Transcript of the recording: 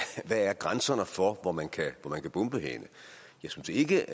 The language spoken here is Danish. grænserne er for hvor man kan bombe henne jeg synes ikke